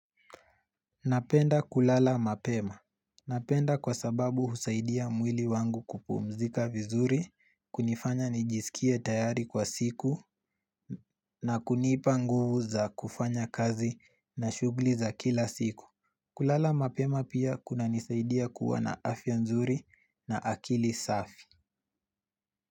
Napenda kulala mapema. Napenda kwa sababu husaidia mwili wangu kupumzika vizuri, kunifanya nijisikie tayari kwa siku na kunipa nguvu za kufanya kazi na shughli za kila siku. Kulala mapema pia kunanisaidia kuwa na afya nzuri na akili safi.